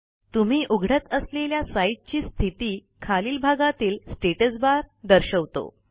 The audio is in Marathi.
तुम्ही उघडत असलेल्या साईटची स्थिती खालील भागातील स्टॅटस barदर्शवतो